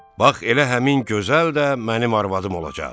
Bax elə həmin gözəl də mənim arvadım olacaq.